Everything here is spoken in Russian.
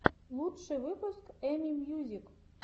лучший выпуск эми мьюзик